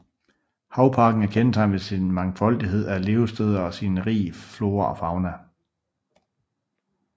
Havparken er kendetegnet ved sin mangfoldighed af levesteder og sin rige flora og fauna